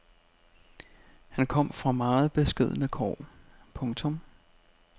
Han kom fra meget beskedne kår. punktum